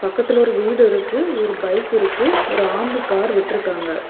பக்கத்துல ஒரு வீடு இருக்கு ஒரு பைக் இருக்கு ஒரு ஆம்னி கார் விட்ருக்காங்க.